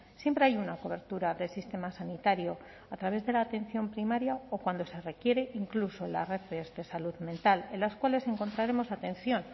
siempre hay una cobertura del sistema sanitario a través de la atención primaria o cuando se requiere incluso en las redes de salud mental en las cuales encontraremos atención